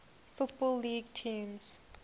football league teams